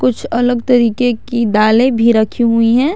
कुछ अलग तरीके की दालें भी रखी हुई हैं।